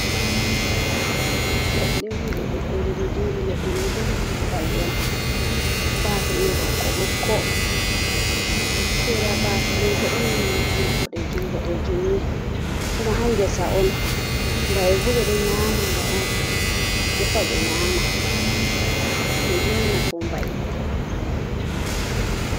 Leɗɗe on ɗe ɗuuɗɗe, ɗe ɗo njoori. Ledɗɗe may bo leɗɗe mbayi on. Baafe may bo ɓokko-ɓokko. Sera baafe may bo ɗon ɓanndu boɗeejum-bodɗeejum ni. Kuma haa ngesa on. Mbayi bo ɓe ɗo nyaama nga on. Defa ɓe nyaama. Kannjnu on nafu mbayi.